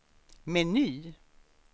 meny